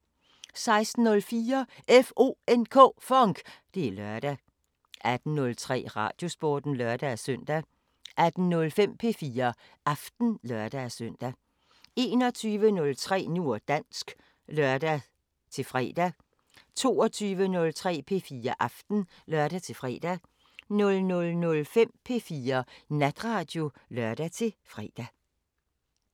16:04: FONK! Det er lørdag 18:03: Radiosporten (lør-søn) 18:05: P4 Aften (lør-søn) 21:03: Nu og dansk (lør-fre) 22:03: P4 Aften (lør-fre) 00:05: P4 Natradio (lør-fre)